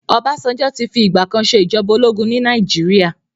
Ọbásanjọ́ ti fi ìgbà kan ṣe ìjọba ológun ní Nàìjíríà.